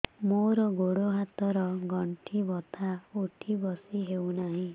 ମୋର ଗୋଡ଼ ହାତ ର ଗଣ୍ଠି ବଥା ଉଠି ବସି ହେଉନାହିଁ